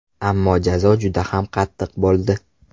Ammo jazo juda ham qattiq bo‘ldi.